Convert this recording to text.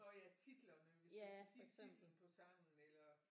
Nå ja titlerne hvis du skal sige titlen på sangen eller